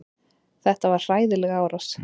Þetta var hræðileg árás.